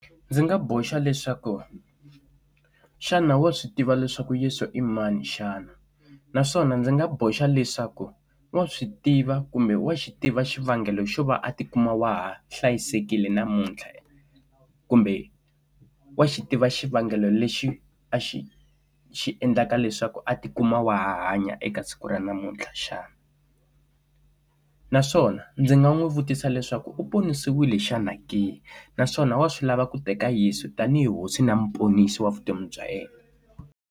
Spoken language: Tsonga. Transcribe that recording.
Ndzi nga boxa leswaku xana wa swi tiva leswaku Yesu i mani xana naswona ndzi nga boxa leswaku wa swi tiva kumbe wa xi tiva xivangelo xo va a tikuma wa ha hlayisekile namuntlha kumbe wa xi tiva xivangelo lexi a xi xi endlaka leswaku a ti kuma wa ha hanya eka siku ra namuntlha xana naswona ndzi nga n'wi vutisa leswaku u ponisiwile xana ke naswona wa swi lava ku ta ka Yesu tanihi hosi na muponisi wa vutomi bya yena.